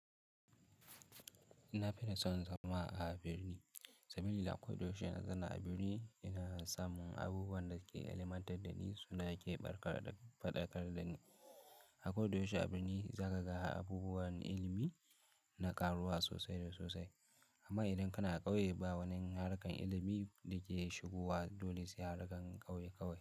Ina fi son zama a birni, saboda a koyaushe na zana a birni ina samun abubuwan da ke ilmantar da ni suna fadakar da ni. A koyaushe a birni za ka ga abubuwan ilimi na karuwa sosai da sosai. Amma idan kana ƙauye, ba wani harkar ilimi da ke shigowa dole sai harkar ƙauye kawai.